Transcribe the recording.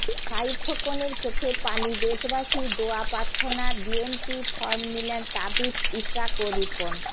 সাঈদ খোকনের চোখে পানি দেশবাসীর দোয়া প্রার্থনা বিএনপির ফরম নিলেন তাবিথ ইশরাক ও রিপন